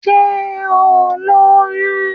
Sé o lóyún?